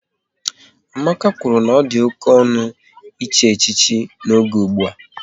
Emeka kwụrụ na ọ dị oké ọnụ, echi echichi n'oge ụgbụa